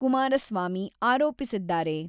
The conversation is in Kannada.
ಕುಮಾರಸ್ವಾಮಿ ಆರೋಪಿಸಿದ್ದಾರೆ.